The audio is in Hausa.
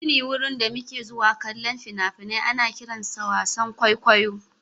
Gini ko wurin da muke zuwa kallon fina-finai ana kiransa wasan kwaikwayo